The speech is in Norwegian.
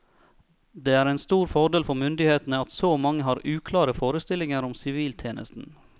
Det er en stor fordel for myndighetene at så mange har uklare forestillinger om siviltjenesten.